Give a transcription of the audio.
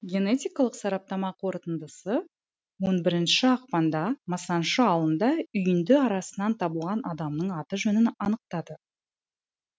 генетикалық сараптама қорытындысы он бірінші ақпанда масаншы ауылында үйінді арасынан табылған адамның аты жөнін анықтады